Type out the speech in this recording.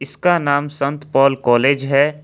इसका नाम संत पॉल कॉलेज है।